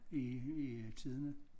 I i tidene